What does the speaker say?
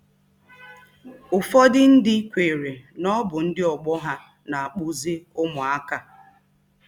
Ụfọdụ ndị kweere na ọ bụ ndị ọgbọ ha na-akpụzi ụmụaka.